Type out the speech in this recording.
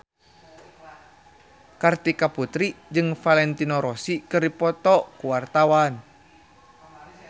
Kartika Putri jeung Valentino Rossi keur dipoto ku wartawan